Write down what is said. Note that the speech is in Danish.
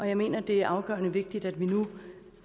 jeg mener det er afgørende vigtigt at vi nu